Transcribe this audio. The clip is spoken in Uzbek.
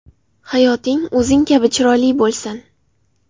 Hayoting o‘zing kabi chiroyli bo‘lsin!